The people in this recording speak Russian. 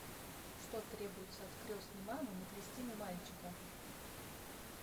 что требуется от крестной мамы на крестины мальчика